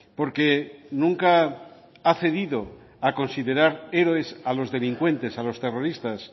porque nunca ha cedido a considerar héroes a los delincuentes a los terroristas